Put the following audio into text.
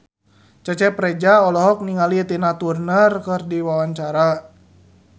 Cecep Reza olohok ningali Tina Turner keur diwawancara